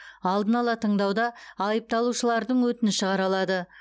алдын ала тыңдауда айыпталушылардың өтініші қаралады